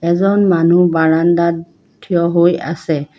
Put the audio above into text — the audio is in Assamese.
এজন মানুহ বাৰাণ্ডাত থিয় হৈ আছে।